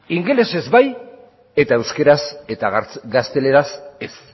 ingelesez bai eta euskeraz eta gazteleraz ez